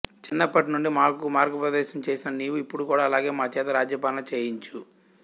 చిన్నప్పటి నుండి మాకు మార్గోపదేశము చేసిన నీవు ఇప్పుడు కూడా అలాగే మా చేత రాజ్యపాలన చేయించు